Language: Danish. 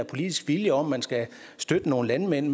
politisk vilje om at man skal støtte nogle landmænd i